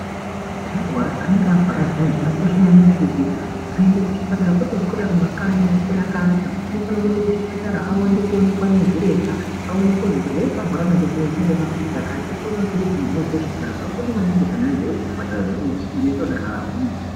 Muntu arwara, anenge arwara zviyana, zvakakosha maningi kuti aende kuchipatara, kwete kuswera mumakanyi, oswera akaata, unofane kuenda kuchipatara andoonekwa ndivana zviremba, oonekwa kuzwi chirwere chaanorwara chinechi chinoda maphilizi akati, opuwa maphilizi, muntu ozwa zvakanaka. Zvakakosha maningi kuti vantu vaziye kuti zvipatara zvinoite kuti antu agwinye.